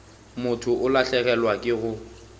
motho o lahlegelwa ke go